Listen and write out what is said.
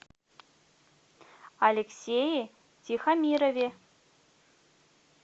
алексее тихомирове